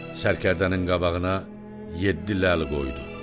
Sərkərdənin qabağına yeddi ləl qoydu.